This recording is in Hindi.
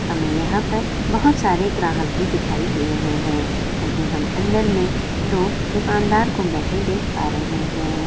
हमे यहाँ पर बहुत सारे ग्राहक भी दिखाई दे रहे हैवही हम अंदर में दो दुकानदार को बैठे देख पा रहे है।